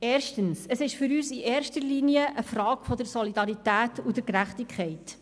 – Erstens ist es für uns eine Frage der Solidarität und der Gerechtigkeit.